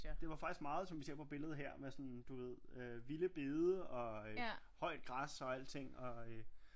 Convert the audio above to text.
Det var faktisk meget som vi ser på billedet her med sådan du ved øh vilde bede og øh højt græs og alting